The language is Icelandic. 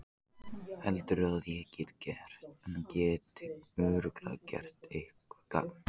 Heldurðu að ég geti örugglega gert eitthvert gagn?